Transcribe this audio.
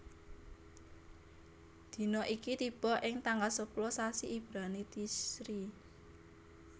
Dina iki tiba ing tanggal sepuluh sasi Ibrani Tishri